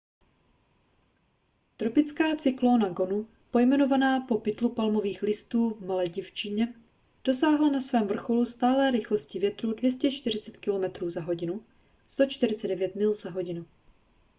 tropická cyklóna gonu pojmenovaná po pytlu palmových listů v maledivštině dosáhla na svém vrcholu stálé rychlosti větru 240 kilometrů za hodinu 149 mil za hodinu